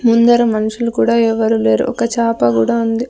ముందర మనుషులు కూడా ఎవరూ లేరు ఒక చాప గూడా ఉంది.